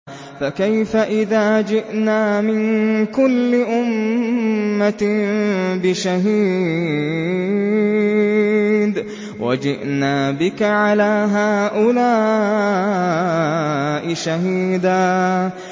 فَكَيْفَ إِذَا جِئْنَا مِن كُلِّ أُمَّةٍ بِشَهِيدٍ وَجِئْنَا بِكَ عَلَىٰ هَٰؤُلَاءِ شَهِيدًا